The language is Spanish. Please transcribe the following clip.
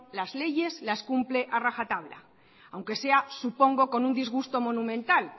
las leyes las cumple ha rajatabla aunque sea supongo con un disgusto monumental